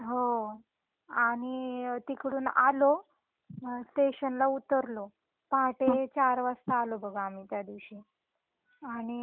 हो आणि तिकडून आलो स्टेशन ला उतरलो. पहाटे 4 वाजता आलो बघ आम्ही त्यादिवशी. आणि